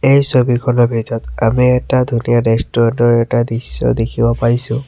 এই ছবিখনৰ ভিতৰত আমি এটা ধুনীয়া ৰেষ্টুৰেণ্ট ৰ এটা দৃশ্য দেখিব পাৰিছোঁ।